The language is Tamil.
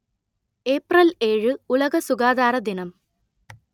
ஏப்ரல் ஏழு உலக சுகாதார தினம்